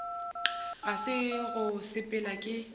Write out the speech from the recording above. ga se go sepela ke